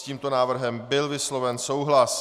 S tímto návrhem byl vysloven souhlas.